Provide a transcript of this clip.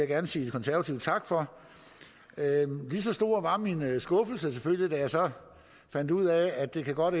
gerne sige konservative tak for lige så stor var min skuffelse selvfølgelig da jeg så fandt ud af at det godt